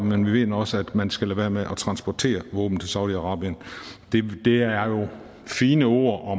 men vi mener også at man skal lade være med at transportere våben til saudi arabien det er fine ord og